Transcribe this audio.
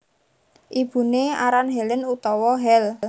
Ibuné aran Helen utawa Hel